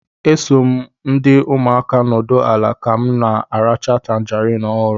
E so m ndi umuaka nọdụ ala ka m na-aracha tangarin ọhụrụ